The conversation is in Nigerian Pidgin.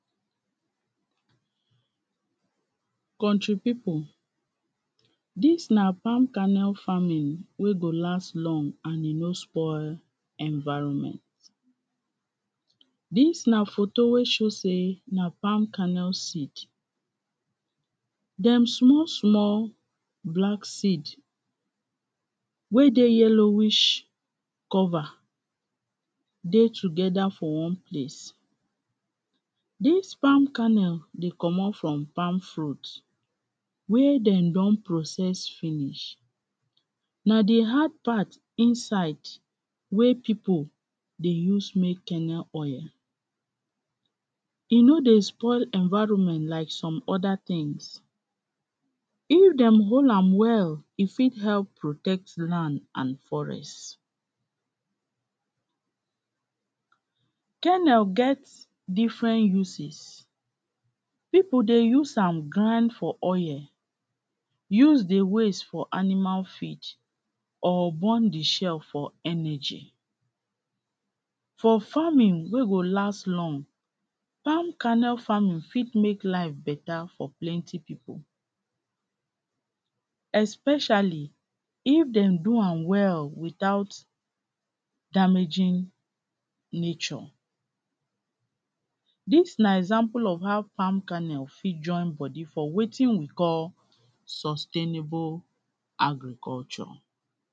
country people, dis na palm kernal farming wey go last long and e no spoil environment. Dis na photo wey show sey na palm kernel seed. Dem small small black seed wey dey yellowish cover, dey togeda for one place. Dis palm kernel dey comot from palm fruit wey den don process finish. Na dey hard part inside wey people dey use make kernel oil. E no dey spoil environment like some oda tins. if dem hold am well e fit help protect land and forest Kernel get different uses. People dey use am grind for oil, use de waste for animal feed or burn de shell for energy. For farming wey go last long, palm kernel farming fit make life better for plenty people. Especially if dem do am well without damaging nature. Dis na example of how palm kernel fit join body for wetin we call sustainable agriculture.